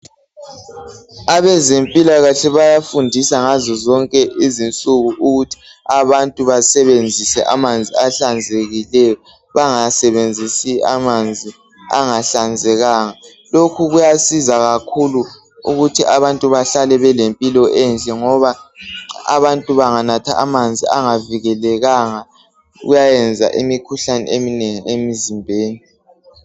Abezempilakahle bayafundisa ngazo zonke izinsuku ukuthi abantu basebenzise amanzi ahlanzekileyo bangasebenzisi amanzi angahlanzekanga. Lokhu kuyasiza kakhulu ukuthi abantu bahlale belempilo enhle ngoba abantu benganatha amanzi angavikelekanga kuyayenza imikhuhlane eminengi emzimbeni .